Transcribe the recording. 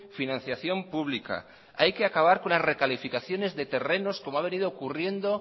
financiación pública hay que acabar con las recalificaciones de terrenos como ha venido ocurriendo